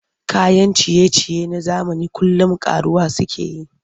Kayan ciye-ciye na zamani kullum ƙaruwa suke yi.